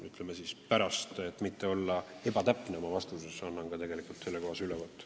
Et oma vastuses mitte ebatäpne olla, annan teile veidi hiljem ka sellekohase ülevaate.